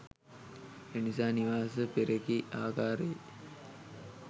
එනිසා නිවාස පෙරකී ආකාරයේ